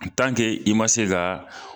i man se za